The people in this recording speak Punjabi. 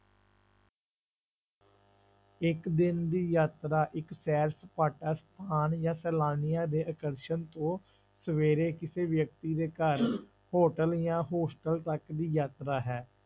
ਇੱਕ ਦਿਨ ਦੀ ਯਾਤਰਾ ਇੱਕ ਸੈਰ ਸਪਾਟਾ ਸਥਾਨ ਜਾਂ ਸੈਲਾਨੀਆਂ ਦੇ ਆਕਰਸ਼ਣ ਤੋਂ ਸਵੇਰੇ ਕਿਸੇ ਵਿਅਕਤੀ ਦੇ ਘਰ hotel ਜਾਂ hostel ਤੱਕ ਦੀ ਯਾਤਰਾ ਹੈ।